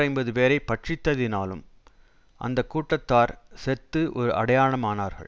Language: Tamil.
ஐம்பதுபேரைப் பட்சித்ததினாலும் அந்த கூட்டத்தார் செத்து ஒரு அடையாளமானார்கள்